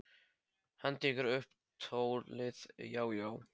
Hann tekur upp tólið: Já, já.